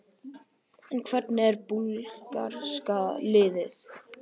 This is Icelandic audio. En hvernig er búlgarska liðið?